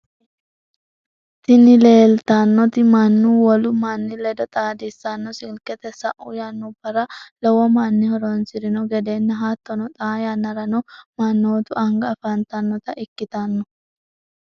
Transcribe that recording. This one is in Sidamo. tini leellitanoti manna wolu manni ledo xaadissanno silketi. sa'u yannubara lowo manni horoonsirino gedenna hattonni xaa yannarano mannootu anga afantanota ikkitanno.